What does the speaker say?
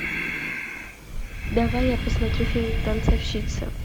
давай я посмотрю фильм танцовщица